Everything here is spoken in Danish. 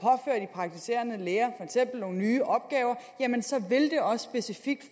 praktiserende læger nogle nye opgaver så vil det også specifikt